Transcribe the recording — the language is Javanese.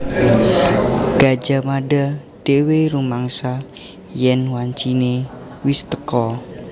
Gajah Mada dhéwé rumangsa yèn wanciné wis teka